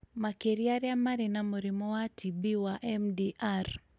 makĩria arĩa marĩ na mũrimũ wa TB wa MDR,